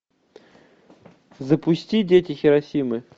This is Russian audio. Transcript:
запусти дети хиросимы